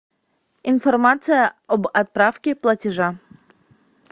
информация об отправке платежа